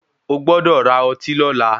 O gbọ́dọ̀ ra ọtí lọla.